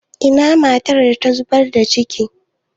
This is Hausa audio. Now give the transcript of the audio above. Ina matar da ta zubar da cikin?